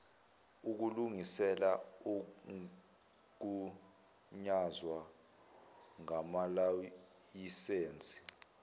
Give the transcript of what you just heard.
ukulungisela ukugunyazwa ngamalayisensi